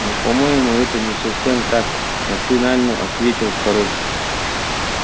но по-моему это не совсем так машинально ответил король